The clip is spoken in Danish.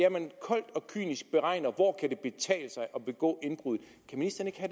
at man koldt og kynisk beregner hvor det kan betale sig at begå indbrud